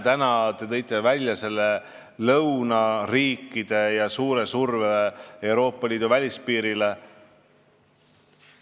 Te tõite välja lõunariigid ja suure surve Euroopa Liidu välispiirile.